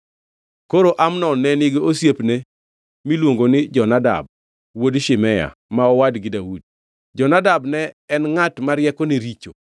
Koro Amnon ne nigi osiepne miluongo ni Jonadab wuod Shimea, ma owadgi Daudi. Jonadab ne en ngʼat ma riekone richo.